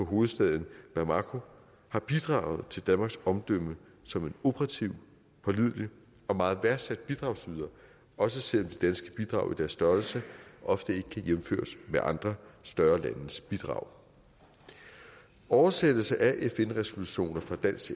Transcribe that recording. hovedstaden bamako har bidraget til danmarks omdømme som en operativt pålidelig og meget værdsat bidragsyder også selv om danske bidrag i deres størrelse ofte ikke kan jævnføres med andre større landes bidrag oversættelse af fn resolutioner fra